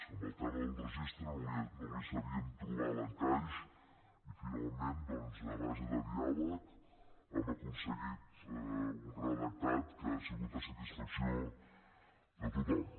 en el tema del registre no li sabíem trobar l’encaix i finalment doncs a base de diàleg hem aconseguit un redactat que ha sigut a satisfacció de tothom